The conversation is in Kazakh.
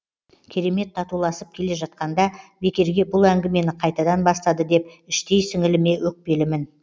керемет татуласып келе жатқанда бекерге бұл әңгімені қайтадан бастады деп іштей сіңіліме өкпелімін